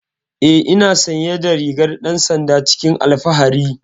Eh ina sanye da rigar dan sanda cikin alfahari.